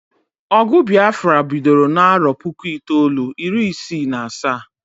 Ogụ Biafra bidoro n'arọ puku itoolu, iri isi na asaa